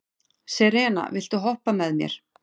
Serena, viltu hoppa með mér?